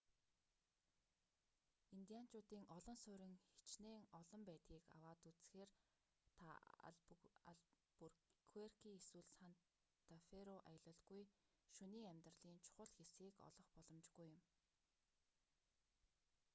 индианчуудын олон суурин хичнээн хол байдгийг аваад үзэхээр та албуркуэрки эсвэл санта фэ руу аялалгүй шөнийн амьдралын чухал хэсгийг олох боломжгүй юм